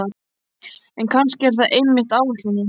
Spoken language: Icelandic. En kannski er það einmitt ætlunin.